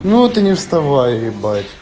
ну ты не вставай ебать